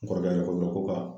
N kɔrɔkɛ yɛrɛ ko n ma ko ka